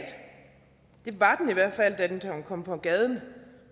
det var den i hvert fald da den kom på gaden